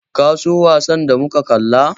Ka so wasan da muka kalla?